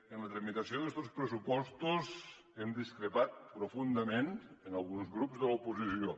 en la tramitació d’estos pressupostos hem discrepat profundament amb alguns grups de l’oposició